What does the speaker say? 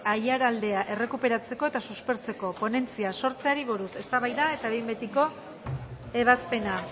aiaraldea errekuperatzeko eta suspertzeko ponentzia sortzeari buruz eztabaida eta behin betiko ebazpena